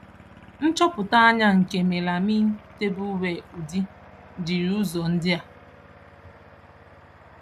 Nchọpụta anya nke melamine tableware udi, jiri ụzọ ndị a.